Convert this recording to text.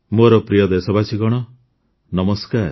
ମୋର ପ୍ରିୟ ଦେଶବାସୀଗଣ ନମସ୍କାର